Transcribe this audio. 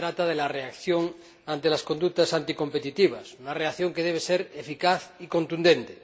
Se trata de la reacción ante las conductas anticompetitivas, una reacción que debe ser eficaz y contundente.